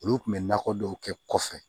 Olu kun bɛ nakɔ dɔw kɛ kɔfɛ